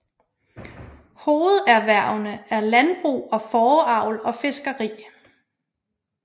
Hovederhverne er landbrug og fåreavl og fiskeri